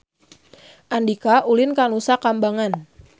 Andika ulin ka Nusa Kambangan